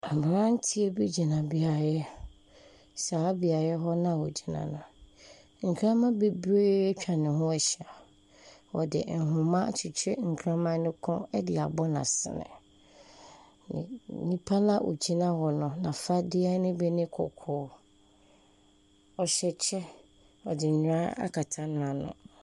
Aberanteɛ bi gyina beaeɛ, saa beaeɛ hɔ no a ogyina no, nkraman bebree atwa ne ho ahyia, ɔde nhoma agye nkraman ne kɔn de abɔ n’asene. N nipa no a ogyina hɔ no, n’afadeɛ ne bi yɛ kɔkɔɔ, ɔhyɛ kyɛ, ɔde nnwera akyekyere n’ano.